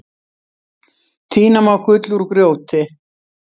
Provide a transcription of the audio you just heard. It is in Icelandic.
Tína má gull úr grjóti.